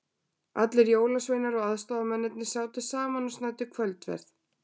Allir jólasveinarnir og aðstoðamennirnir sátu saman og snæddu kvöldverð.